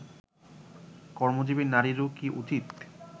কর্মজীবী নারীরও কি উচিত